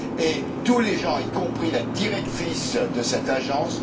Chacun le reconnaît, y compris la directrice de cette agence.